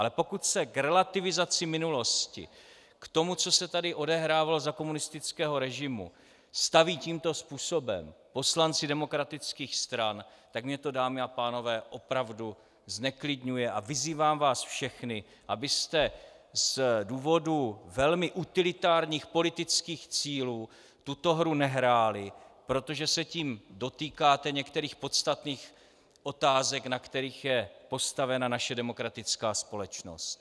Ale pokud se k relativizaci minulosti, k tomu, co se tady odehrávalo za komunistického režimu, staví tímto způsobem poslanci demokratických stran, tak mě to, dámy a pánové, opravdu zneklidňuje a vyzývám vás všechny, abyste z důvodu velmi utilitárních politických cílů tuto hru nehráli, protože se tím dotýkáte některých podstatných otázek, na kterých je postavena naše demokratická společnost.